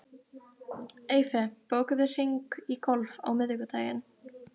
Eyfi, bókaðu hring í golf á mánudaginn.